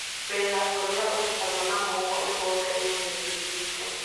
Wĩra ũrĩa ũrutagwo na moko mĩgũnda-inĩ nĩ ũnyihĩte.